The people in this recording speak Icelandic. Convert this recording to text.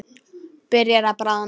Byrjar að bráðna.